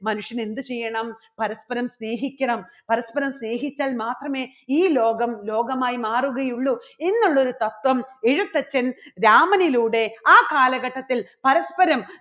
മനുഷ്യൻ എന്ത് ചെയ്യണം പരസ്പരം സ്നേഹിക്കണം പരസ്പരം സ്നേഹിച്ചാൽ മാത്രമേ ഈ ലോകം ലോകമായി മാറുകയുള്ളൂ. എന്നുള്ളൊരു തത്വം എഴുത്തച്ഛൻ രാമനിലൂടെ ആ കാലഘട്ടത്തിൽ പരസ്പരം